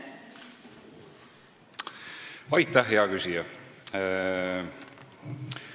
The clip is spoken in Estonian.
Aitäh, hea küsija!